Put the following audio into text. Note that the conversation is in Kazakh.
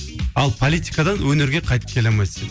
ал политикадан өнерге қайтып келе алмайсың